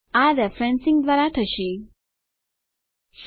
આ રેફરેન્સિંગ સંદર્ભ લેવું દ્વારા થશે